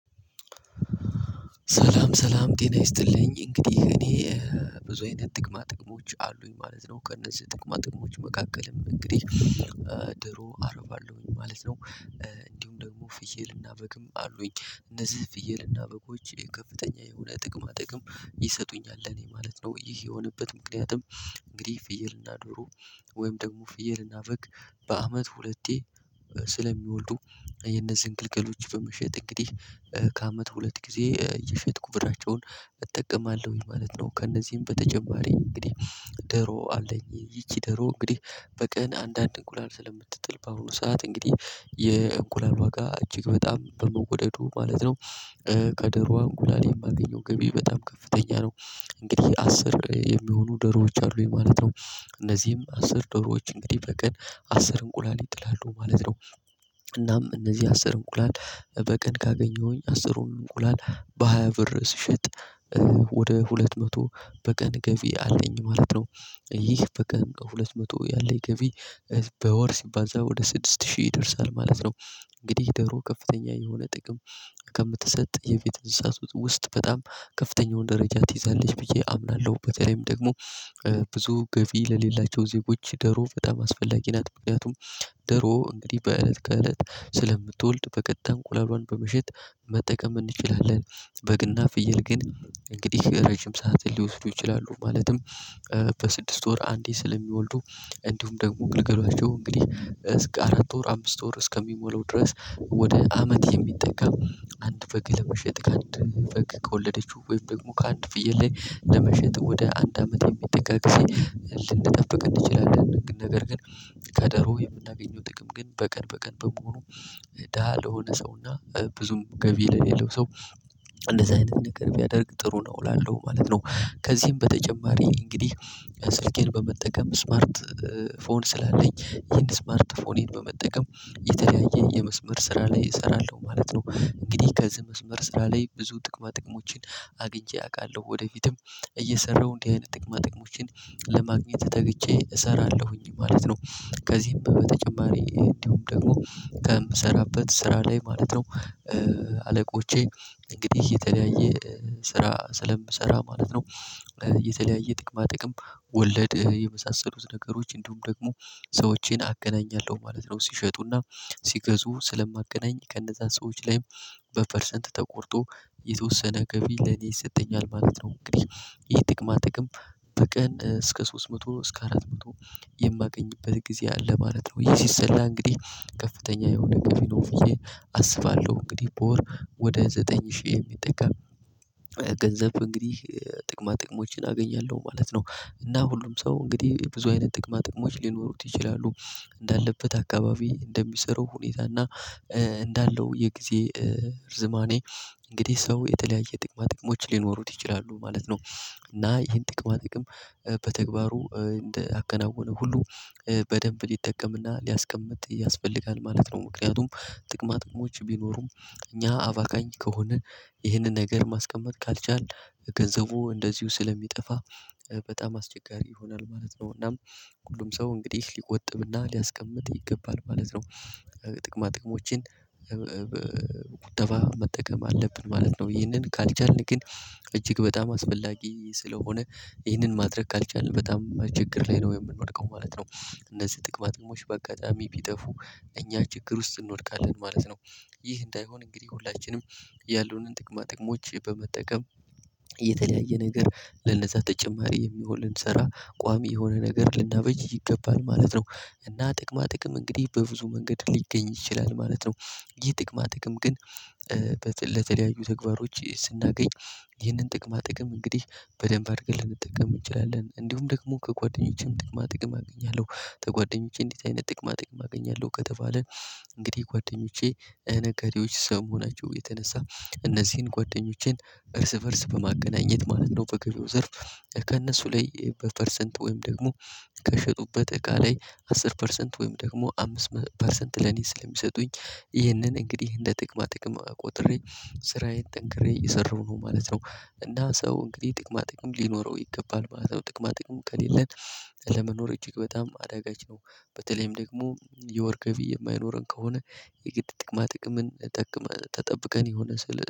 ሰላም ሰላም ጤና ይስጥልኝ እንግዲህ እኔ ብዙ የኔ ጥቅማ ጥቅሞች አሉኝ ማለት ነው ከእነዚህ ጥቅማ ጥቅሞች መካከልም እንግዲህ ዶሮ አረባለሁኝ ማለት ነው። እንዲሁም ደግሞ ፍየልና በግም አሉኝ እነዚህ ፍየልና በጎች የከፍተኛ የሆነ ጥቅማ ጥቅም ይሰጡኛል ለኔ ማለት ነው። ይህ የሆነበትም ምክንያቱም እንግዲህ ፍየልና ዶሮ ወይም ደግሞ ፍየልና በግ በአመት ሁለቴ ስለሚወልዱ የነዚህን ግልገሎች በመሸጥ እንግዲህ ከአመት ሁለት ጊዜ እየሸጥኩ ብራቸውን እጠቀማለሁኝ ማለት ነው። ከእነዚህም በተጨማሪ እንግዲህ ዶሮ አለኝ ይቺ ዶሮ እንግዲህ በቀን አንዳንድ እንቁላል ስለምትጥል በአሁኑ ሰዓት እንግዲህ የእንቁላል ዋጋ እጅግ በጣም በመወደዱ ማለት ነው ከዶሮዋ እንቁላሌ የማገኘው ግቢ በጣም ከፍተኛ ነው። እንግዲህ አስር የሚሆኑ ዶሮዎች አሉ ማለት ነው። እነዚህም አስር ዶሮዎች እንግዲህ በቀን አስር እንቁላል ይጥላሉ ማለት ነው። እናም እነዚህ አስር እንቁላል በቀን ካገኘሁኝ አስሩን እንቁላል በሃያ ብር ስሸጥ ወደ ሁለት መቶ በቀን ገቢ አለኝ ማለት ነው። ይህ በቀን ከሁለት መቶ ያለኝ ገቢ በወር ሲባዛ ወደ ስድስት ሺህ ይደርሳል ማለት ነው። እንግዲህ ደግሞ ከፍተኛ የሆነ ጥቅም ከምትሰጥ የቤት እንስሳ ውስጥ በጣም ከፍተኛውን ደረጃ ትይዛለች ብዬ አምናለሁ። በተለይም ደግሞ ብዙ ገቢ ለሌላቸው ዜጎች ደሮ በጣም አስፈላጊ ናት በምክንያቱም ደሮ እንግዲህ በእለት ከእለት ስለምትወልድ በቀጥ እንቁላሏን በመሸጥ መጠቀም እንችላለን። በግና ፍየል ግን እንግዲህ ረጅም ሰዓት ሊወስዱ ይችላሉ ማለትም። በስድስት ወር አንዴ ስለሚወልዱ እንዲሁም ደግሞ ግልገላቸው እንግዲህ አራት ወር አምስት ወር እስከሚሞላው ድረስ ወደ አመት የሚጠጋ አንድ በግ ለመሸጥ ከአንድ በግ ከወለደችው ወይም ደግሞ ከአንድ ፍየል ላይ ለመሸጥ ወደ አንድ አመት የሚጠቀስ ልንጠብቅ እንችላለን። ነገር ግን ከዶሮ የምናገኘው ጥቅም ግን በቀን በቀን በመሆኑ ደሃ ለሆነ ሰውና ብዙም ገቢ ለሌለው ሰው እንደዚህ አይነት ነገር ቢያደርግ ጥሩ ነው እላለሁ ማለት ነው። ከዚህም በተጨማሪ እንግዲህ ስልኬን በመጠቀም ስማርት ፎን ስላለኝ ይሄን ስማርት ፎን ይሄን በመጠቀም የተለያየ የመስመር ስራ ላይ እሰራለሁ ማለት ነው። እንግዲህ ከዚህ መስመር ስራ ላይ ብዙ ጥቅማ ጥቅሞችን አግኝቼ አውቃለሁ ወደፊትም እየሰራሁ እንዲህ አይነት ጥቅማ ጥቅሞችን ለማግኘት ተግቼ እሰራለሁኝ ማለት ነው። ከዚህም በተጨማሪ እንዲሁም ደግሞ ከምሰራበት ስራ ላይ ማለት ነው። አለቆቼ እንግዲህ የተለያየ ስራ ስለምሰራ ማለት ነው። የተለያየ ጥቅማ ጥቅም ወለድ የመሳሰሉት ነገሮች እንዲሁም ደግሞ ሰዎቼን አገናኛለሁ ማለት ነው። ሲሸጡና ሲገዙ ስለማገናኝ ከነዛ ሰዎች ላይም በፐርሰንት ተቆርጦ የተወሰነ ገቢ ለኔ ይሰጠኛል ማለት ነው። እንግዲህ ይሄ ጥቅማ ጥቅም በቀን እስከ ሶስት መቶ ነው እስከ አራት መቶ የማገኝበት ጊዜ አለ ማለት ነው። የሲሰላ እንግዲህ ከፍተኛ የሆነ ገቢ ነው ብዬ አስባለሁ። እንግዲህ በወር ወደ ዘጠኝ ሺህ የሚጠጋም ገንዘብ እንግዲህ ጥቅማ ጥቅሞችን አገኛለሁ ማለት ነው። እና ሁሉም ሰው እንግዲህ ብዙ አይነት ጥቅማ ጥቅሞች ሊኖሩት ይችላሉ እንዳለበት አካባቢ እንደሚሰሩ ሁኔታ እና እንዳለው የጊዜ እርዝማኔ እንግዲህ ሰው የተለያየ ጥቅማ ጥቅሞች ሊኖሩት ይችላሉ ማለት ነው። እና ይሄን ጥቅማ ጥቅም በተግባሩ እንደ አከናወነ ሁሉ በደንብ ሊጠቀምና ሊያስቀምጥ ያስፈልጋል ማለት ነው። ምክንያቱም ጥቅማ ጥቅሞች ቢኖሩም እኛ አባካኝ ከሆነ ይህንን ነገር ማስቀመጥ ካልቻልን ገንዘቡ እንደዚሁ ስለሚጠፋ በጣም አስቸጋሪ ይሆናል ማለት ነው። እናም ሁሉም ሰው እንግዲህ ሊቆጥብና ሊያስቀምጥ ይገባል ማለት ነው። ጥቅማ ጥቅሞችን በቁጠባ መጠቀም አለብን ማለት ነው። ይሄንን ካልቻልን ግን እጅግ በጣም አስፈላጊ ስለሆነ ይህንን ማድረግ ካልቻልን በጣም ችግር ላይ ነው የምንወድቀው ማለት ነው። እነዚህ ጥቅማጥሞች በአጋጣሚ ቢጠፉ እኛ ችግር ውስጥ እንወድቃለን ማለት ነው። ይህ እንዳይሆን እንግዲህ ሁላችንም ያለንን ጥቅማ ጥቅሞች በመጠቀም የተለያየ ነገር ለነዛ ተጨማሪ የሚሆንን ስራ ቋሚ የሆነ ነገር ልናበጅ ይገባል ማለት ነው። እና ጥቅማ ጥቅም እንግዲህ በብዙ መንገድ ሊገኝ ይችላል ማለት ነው። ይህ ጥቅማ ጥቅም ግን ለተለያዩ ተግባሮች ስናገኝ ይህንን ጥቅማ ጥቅም እንግዲህ በደንብ አድርገን ልንጠቀም እንችላለን። እንዲሁም ደግሞ ከጓደኞቼም ጥቅማ ጥቅም አገኛለሁ። ከጓደኞቼ እንዲህ አይነት ጥቅማ ጥቅም አገኛለሁ ከተባለ እንግዲህ ጓደኞቼ ነጋዴዎች ከመሆናቸው የተነሳ እነዚህን ጓደኞቼን እርስ በእርስ በማገናኘት ማለት ነው። በገበያው ዘርፍ ከእነሱ ላይ በፐርሰንት ወይም ደግሞ ከሸጡበት እቃ ላይ አሥር ፐርሰንት ወይም ደግሞ አምስት ፐርሰንት ለኔ ስለሚሰጡኝ ይህንን እንግዲህ እንደ ጥቅማ ጥቅማ ቆጥሬ ስራዬን ጠንክሬ እየሰራሁ ነው ማለት ነው። እና ሰው እንግዲህ ጥቅማ ጥቅም ሊኖረው ይገባል ማለት ነው። ጥቅማ ጥቅሙ ከሌለን ለመኖር እጅግ በጣም አዳጋች ነው። በተለይም ደግሞ የወርቅ ገቢ የማይኖረን ከሆነ የግድ ጥቅማ ጠብቀን ተጠብቀን የሆነ ስል